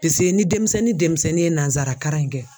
Piseke ni denmisɛnnin denmisɛnnin ye nansaraka in kɛ